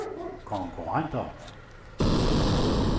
konkurrenter